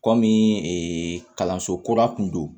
Kɔmi kalanso kura kun don